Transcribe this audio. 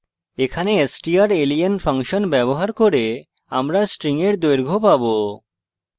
এখানে strlen function ব্যবহার করে আমরা string এর দৈর্ঘ্য পাবো